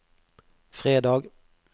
fredag